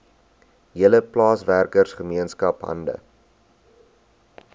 hele plaaswerkergemeenskap hande